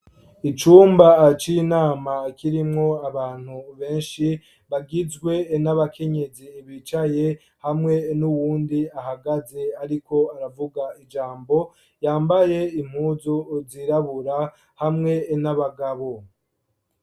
Icumba aci inama kirimwo abantu benshi bagizwe n'abakenyezi bicaye hamwe n'uwundi ahagaze ariko aravuga ijambo yambaye impuzu uzirabura hamwe n'abagabo.